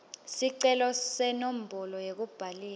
sicelo senombolo yekubhalisa